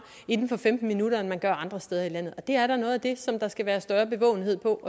inden for femten minutter end man gør andre steder i landet det er da noget af det som der skal være større bevågenhed på